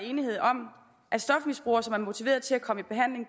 enighed om at stofmisbrugere som er motiveret til at komme